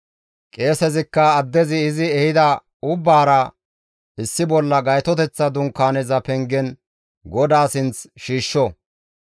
Qeesezikka addezi izi ehida ubbaara issi bolla Gaytoteththa Dunkaaneza pengen GODAA sinth shiishsho.